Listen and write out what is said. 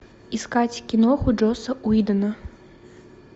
искать киноху джосса уидона